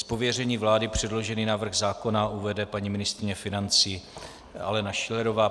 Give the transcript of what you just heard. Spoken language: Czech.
Z pověření vlády předložený návrh zákona uvede paní ministryně financí Alena Schillerová.